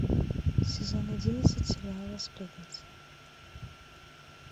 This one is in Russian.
сезон одиннадцать сериала сплетница